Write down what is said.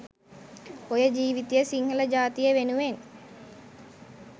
ඔය ජීවිතය සිංහල ජාතිය වෙනුවෙන්